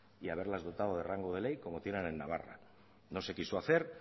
y haberlas dotado de rango de ley como tienen en navarra no se quiso hacer